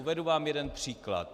Uvedu vám jeden příklad.